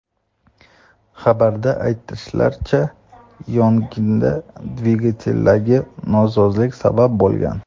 Xabarda aytilishicha, yong‘inga dvigateldagi nosozlik sabab bo‘lgan.